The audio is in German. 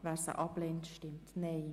Wer sie ablehnt, stimmt Nein.